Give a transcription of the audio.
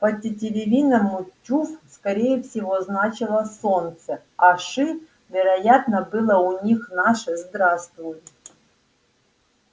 по-тетеревиному чуф скорее всего значило солнце а ши вероятно было у них наше здравствуй